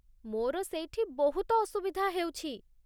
ମୋର ସେଇଠି ବହୁତ ଅସୁବିଧା ହେଉଛି।